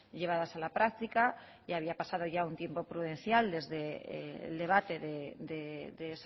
llevadas a la práctica y había pasado un tiempo prudencial desde el debate de